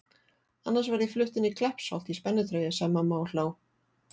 Annars verð ég flutt inn í Kleppsholt í spennitreyju sagði mamma og hló.